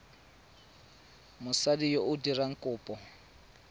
mosadi yo o dirang kopo